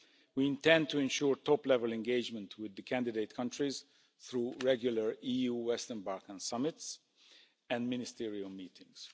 We intend to ensure top level engagement with the candidate countries through regular EU Western Balkans summits and ministerial meetings.